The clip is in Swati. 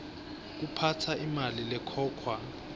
kuphatsa imali lekhokhwa